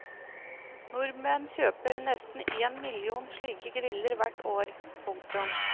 Nordmenn kjøper nesten én million slike griller hvert år. punktum